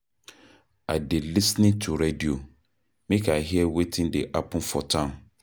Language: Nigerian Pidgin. I dey lis ten to radio, make I hear wetin dey happen for town.